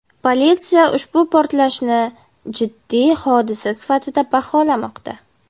Politsiya ushbu portlashni jiddiy hodisa sifatida baholamoqda.